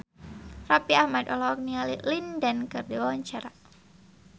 Raffi Ahmad olohok ningali Lin Dan keur diwawancara